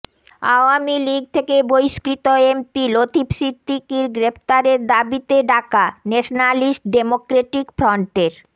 আওয়ামী লীগ থেকে বহিষ্কৃত এমপি লতিফ সিদ্দিকীর গ্রেপ্তারের দাবিতে ডাকা ন্যাশনালিস্ট ডেমোক্রেটিক ফ্রন্টের